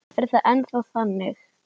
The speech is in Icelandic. Er það ennþá þannig?